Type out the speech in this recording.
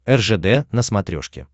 ржд на смотрешке